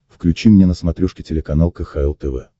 включи мне на смотрешке телеканал кхл тв